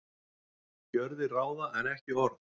Gjörðir ráða en ekki orð